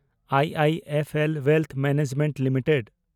I I F L wealth management limited